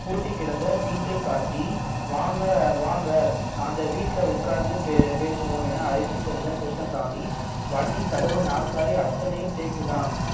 பூட்டிக்கிடந்த வீட்டைக் காட்டி வாங்க வாங்க அந்த வீட்டுல உட்கார்ந்து பே~ பேசுவோம் என அழைத்துச் சென்ற கிருஷ்ணசாமி வண்டி கதவு நாற்காலி அத்தனையும் தேக்கு தான்